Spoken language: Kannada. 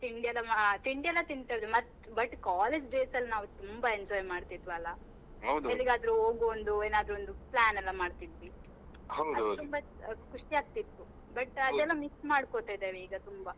ತಿಂಡಿಯೆಲ್ಲ ಮಾ~ ತಿಂಡಿಯೆಲ್ಲ ತಿಂತಿದ್ವಿ ಮತ್ತ್ but college days ಅಲ್ ನಾವ್ ತುಂಬಾ enjoy ಮಾಡ್ತಿದ್ವಲ್ಲ? ಹೋಗುವ ಏನಾದ್ರೂ ಒಂದ್ plan ಎಲ್ಲ ಮಾಡ್ತಿದ್ವಿ. ತುಂಬಾ ಖುಷಿ ಆಗ್ತಿತ್ತು but miss ಮಾಡ್ಕೋತಿದೇವೆ ಈಗ ತುಂಬಾ.